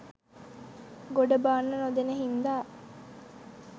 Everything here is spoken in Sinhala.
ගොඩ බාන්න නොදෙන හින්දා